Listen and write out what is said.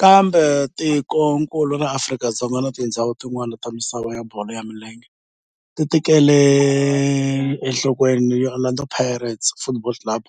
Kambe tikonkulu ra Afrika na tindzhawu tin'wana ta misava ya bolo ya milenge ti tekele enhlokweni Orlando Pirates Football Club